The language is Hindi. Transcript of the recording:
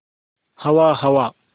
हवा हवा